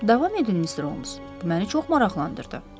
Davam edin, Mister Holms, bu məni çox maraqlandırdı.